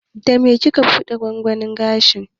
Da me kike buɗe gwangwanin gesha?